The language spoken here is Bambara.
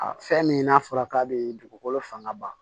A fɛn min n'a fɔra k'a be dugukolo fanga ba ma